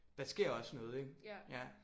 Der sker også noget ik ja